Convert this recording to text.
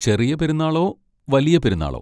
ചെറിയ പെരുന്നാളോ? വലിയ പെരുന്നാളോ?